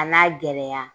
A n'a gɛlɛya